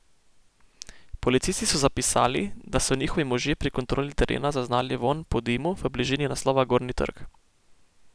Policisti so zapisali da so njihovi možje pri kontroli terena zaznali vonj po dimu v bližini naslova Gornji trg.